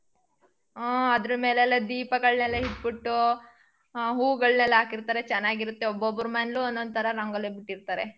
ಉ ಅದ್ರ ಮೇಲೆಲ್ಲಾ ದೀಪಗಳ್ನೆಲ್ಲಾ ಇಟ್ಬಿಟ್ಟು. ಹ ಹೂಗಳ್ನೆಲ್ಲಾ ಹಾಕಿರ್ತಾರೆ ಚೆನ್ನಾಗಿರತ್ತೆ ಒಬ್ಬಬ್ಬರ್ ಮನೇಲಿ ಒಂದೊಂದ್ತರ ರಂಗೋಲಿ ಬಿಟ್ಟಿರ್ತಾರೆ.